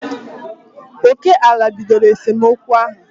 Oké ala bidoro esemokwu ahụ